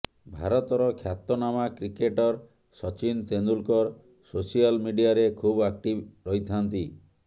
ଭାରତର ଖ୍ୟାତନାମା cricketer Sachin Tendulkar social ମିଡିଆରେ ଖୁବ୍ ଆକ୍ଟିଭ ରହିଥାଆନ୍ତି